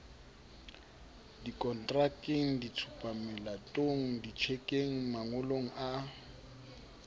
dikontrakeng ditshupamelatong ditjhekeng mangolong a